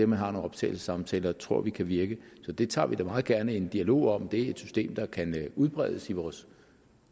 man har nogle optagelsessamtaler tror vi kan virke så vi tager da meget gerne en dialog om om det er et system der kan udbredes i vores